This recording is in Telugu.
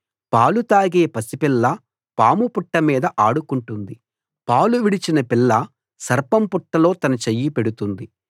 పాలు తాగే పసిపిల్ల పాము పుట్ట మీద ఆడుకుంటుంది పాలు విడిచిన పిల్ల సర్పం పుట్టలో తన చెయ్యి పెడుతుంది